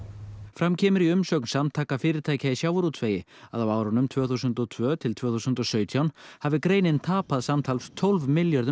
fram kemur í umsögn Samtaka fyrirtækja í sjávarútvegi að á árunum tvö þúsund og tvö til tvö þúsund og sautján hafi greinin tapað samtal tólf